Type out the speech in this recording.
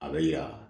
A bɛ ya